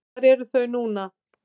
Hvar eru þau núna?